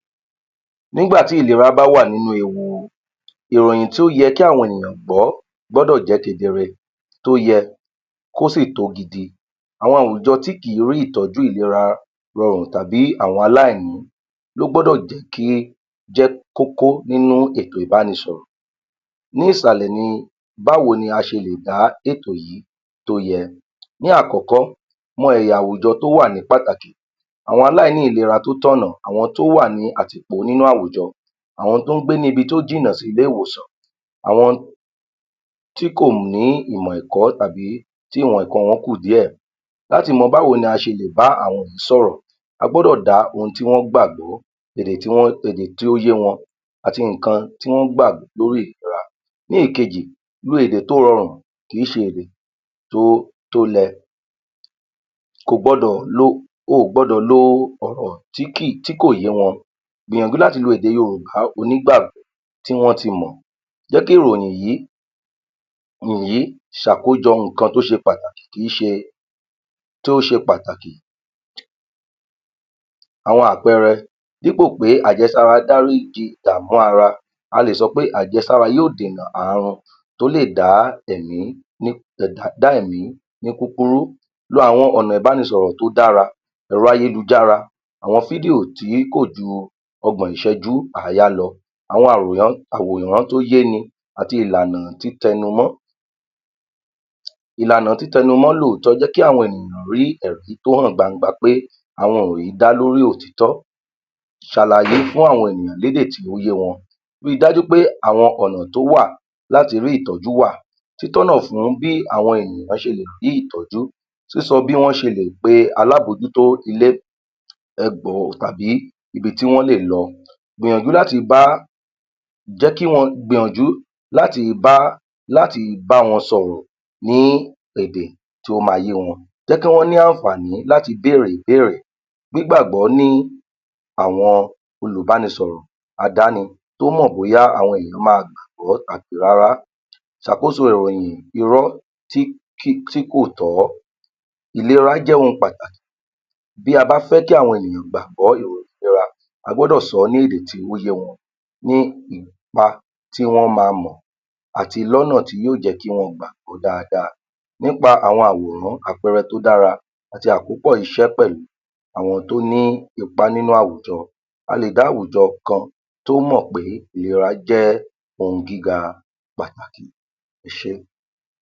23. Nígbà tí ìlera bá wà nínú ewu, ìròyìn tí ó yẹ kí àwọn gbọ́ gbọ́dọ̀ jẹ́ kedere tó yẹ kó sì tó gidi. Àwọn àwùjọ tí kìí rí ìtọ́jú ìlera rọrùn tàbí àwọn aláìní ló gbọ́dọ̀ jẹ́ kí jẹ́ kókó nínú ètò ìbánisọ̀rọ̀. Ní ìsàlẹ̀ ni báwo ni a ṣe lè bá ètò yìí tó yẹ, ní àkọ́kọ́, mọ ẹ̀yà àwùjọ tó wà ní pàtàkì, àwọn aláìní ìlera tó tọ̀nà, àwọn tí ó wà ní àtìpó nínú àwùjọ, àwọn tó ń gbé ní ibi tó jìnnà sí ilé-ìwòsàn, àwọn tí kò ní ìmọ̀ ẹ̀kọ́ tàbí tí ìmọ̀ ẹ̀kọ́ wọn kùn díẹ̀. Láti mọ b'áwo ni a ṣe lè bá àwọn yìí sọ̀rọ̀, a gbọ́dọ̀ dá ohun tí wọ́n gbàgbó, èdè tí um èdè tí ó yé wọn àti nǹkan tí wọ́n gbà lórí ìlera. Ní ìkejì, lo èdè tó rọrùn, kìí ṣe èdè tó lẹ, oò gbọdọ̀ lo ọ̀rọ̀ tí kò yé wọn, gbìyànjú láti lo èdè Yorùbá onígbà tí wọ́n ti mọ̀, jẹ́ kí ìròyìn yìí um ṣàkójọ nǹkan tó ṣe pàtàkì kìí ṣe, tó ṣe pàtàkì àwọn àpẹẹrẹ dí'pò pé àjẹsára dáríji ìdààmú ara, a lè sọ pé àjẹsára yóò dènà ààrùn tó lè dá ẹ̀mí um dá ẹ̀mí ní kúkúrú. Lo àwọn ọ̀nà ìbánisọ̀rọ̀ tó dára, ẹ̀rọ-`ayélujára, àwọn fídíò tí kò ju ọgbọ̀n Ìṣẹ́jú àáyá lọ, àwọn um àwòrán tó yé ni àti ìlànà títẹnumọ́. Ìlànà títẹnumọ́ lóòótọ́ jẹ́ kí àwọn ènìyàn rí ẹ̀rí tó hàn gbangba pé àwọn ìròyìn yìí dá lórí òtítọ́, ṣàlàyé fún àwọn ènìyàn lédè tí ó yé wọn, ríi dájú pé àwọn ọ̀nà tó wà láti rí ìtọ́jú wà, títọ́nà fún bí àwọn ènìyàn ṣe lè rí ìtọ́jú, sísọ bí wọ́n ṣe lè pe alábòójútó ilé ẹgbọ̀ tàbí ibi tí wọ́n lè lọ. Gbìyànjú láti bá um wọn sọ̀rọ̀ ní èdè tí ó máa yé wọn jẹ́ kí wọ́n ní àǹfààní láti béèrè ìbéèrè ní'gbàgbọ́ ní àwọn olùbánisọ̀rọ̀ àdáni tómọ̀ bóyá àwọn ènìyàn máa gbàgbọ́ àbí rárá. Ṣàkóso ìròyìn Irọ́ um tí kò tọ́, ìlera jẹ́ ohun pàtàkì bí a bá fẹ́ kí àwọn ènìyàn gbàgbọ́ ìròyìn ìlera a gbọ́dọ̀ sọ ọ́ ní èdè tí ó yé wọn ní ipa tí wọ́n máa lò àti lọ́nà yóò jẹ́ kí wọ́n gbàgbọ́ dáadáa nípa àwọn àwòrán àpẹẹrẹ tó dára àti àkópọ̀ iṣẹ́ pẹ̀lú àwọn tó ní ipa nínú àwùjọ a lè dá àwùjọ kan tó mọ̀ pé ìlera jẹ́ ohun gígá pàtàkì, ẹ ṣé.